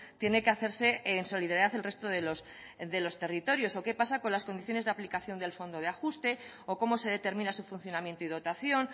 tiene que hacerse en solidaridad del resto de los territorios o qué pasa con las condiciones de aplicación del fondo de ajuste o cómo se determina su funcionamiento y dotación